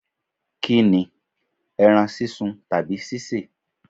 Kini, ẹran sísun tàbí ṣíṣe?